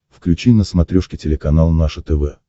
включи на смотрешке телеканал наше тв